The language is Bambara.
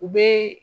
U bɛ